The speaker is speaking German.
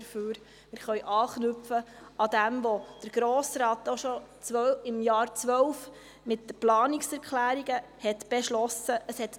Wir können an dem anknüpfen, was der Grosse Rat bereits im Jahr 2012 mit Planungserklärungen beschlossen hat.